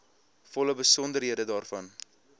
volle besonderhede daarvan